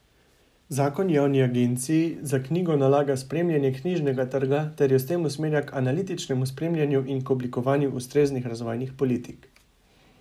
Zakon Javni agenciji za knjigo nalaga spremljanje knjižnega trga ter jo s tem usmerja k analitičnemu spremljanju in k oblikovanju ustreznih razvojnih politik.